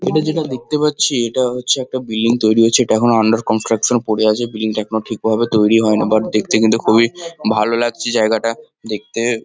এটা যেটা দেখতে পাচ্ছি এটা হছে একটা বিল্ডিং তৈরি হছে। এটা এখনো আন্ডার কন্সট্রাকশান পরে আছে। বিল্ডিং -টি এখনো ঠিকভাবে তৈরি হইনি। বাট দেখতে কিন্তু খুবই ভালো লাগছে জায়গাটা। দেখতে--